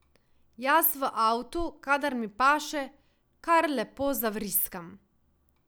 Jaz v avtu, kadar mi paše, kar lepo zavriskam.